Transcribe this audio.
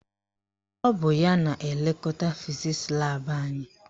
Ọ bụ ya na-elekọta fizisi laabụ anyị.